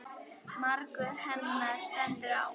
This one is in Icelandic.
Margur henni stendur á.